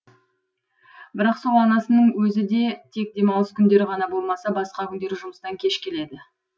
бірақ сол анасының өзі де тек демалыс күндері ғана болмаса басқа күндері жұмыстан кеш келеді